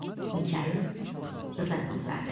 Mikayıl Rzaquluzadə.